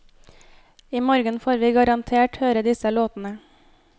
I morgen får vi garantert høre disse låtene.